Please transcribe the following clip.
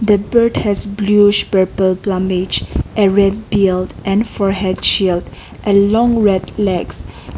the bird has bluish purple plumage a red peeled and for head shield a long red legs.